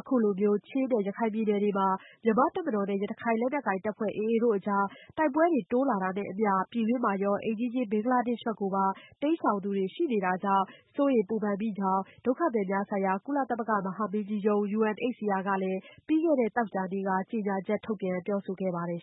အခုလိုချင်းနဲ့ရခိုင်ပြည်နယ်တွေမှာ မြန်မာတပ်မတော်နဲ့ ရခိုင်လက်နက်ကိုင်တပ်ဖွဲ့ AA တို့ကြား တိုက်ပွဲတွေ တိုးလာတာနဲ့အမျှ ပြည်တွင်းမှာရော၊ အိမ်နီးချင်း ဘင်္ဂလားဒေ့ရှ်ဘက်ကိုပါ ထွက်ပြေးသူတွေ ရှိနေတာကြောင့် စိုးရိမ်စိတ်ပူကြောင်း ္ဂ ဒုက္ခသည်များဆိုင်ရာ ကုလသမဂ္ဂမဟာမင်းကြီးရုံးUNHCR က ပြီးခဲ့တဲ့သောကြာနေ့က ကြေညာချက် ထုတ်ပြန်ပြောဆိုခဲ့ပါတယ်